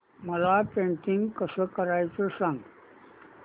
मला पेंटिंग कसं करायचं सांग